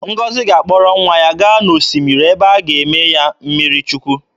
Ngọzi ga-akpọrọ nwa ya gaa n'osimiri ebe a ga-eme ya mmiri Chukwu.